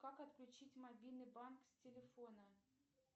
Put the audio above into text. как отключить мобильный банк с телефона